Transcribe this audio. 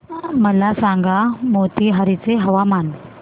मला सांगा मोतीहारी चे हवामान